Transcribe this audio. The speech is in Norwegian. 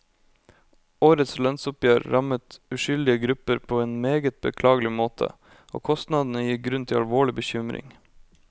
Årets lønnsoppgjør rammet uskyldige grupper på en meget beklagelig måte, og kostnadene gir grunn til alvorlig bekymring.